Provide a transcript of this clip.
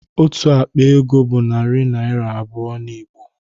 Otu akpa ego bụ narị naịra abụọ n'Igbo